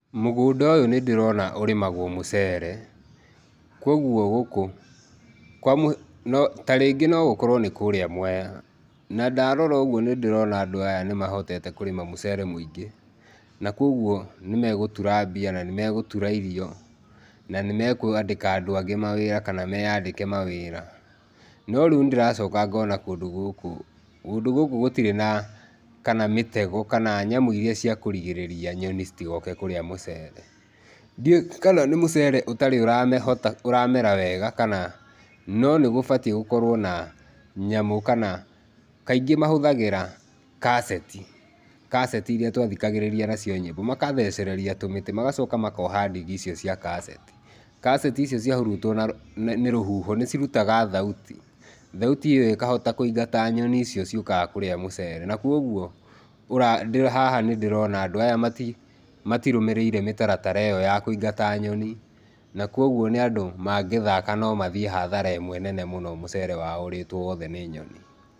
Mũgũnda ũyũ nĩndĩrona ũrĩmagwo mũcere, kuoguo gũkũ kwa mũhiano no ta rĩngĩ no gũkorwo nĩ kũrĩa Mwea. Na, ndarora ũguo nĩndĩrona andũ aya nĩmahotete kũrĩma mũcere mũingĩ, na kuoguo nĩmegũtura mbia, na nĩmegũtura irio, na nĩmekwandĩka andũ angĩ mawĩra kana meyandĩke mawĩra. No rĩu nĩndĩracoka ngona kũndũ gũkũ kũndũ gũkũ gũtirĩ na, kana mĩtego, kana nyamũ iria cia kũrigĩrĩria nyoni citigoke kũrĩa mũcere. Ndiũĩ kana nĩ mũcere ũtarĩ ũrahota ũramera wega kana, no nĩgũbatiĩ gũkorwo na nyamũ kana kaingĩ mahũthagĩra kaseti, kaseti iria twathikagĩrĩria nacio nyĩmbo, magathecereria tũmĩtĩ magacoka makoha ndigi icio cia kaseti. Kaseti icio ciahurutwo na nĩ rũhuho nĩcirutaga thauti, thauti ĩyo ĩkahota kũingata nyoni icio ciũkaga kũrĩa mũcere, na kuoguo ũra haha nĩndĩrona andũ aya matirũmĩrĩire mĩtaratara ĩyo ya kũingata nyoni, na kuoguo nĩ andũ magĩthaka no mathiĩ hathara ĩmwe nene mũno mũcere wao ũrĩtwo wothe nĩ nyoni.